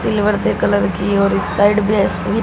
silver से colour की और इस साइड बेसवी--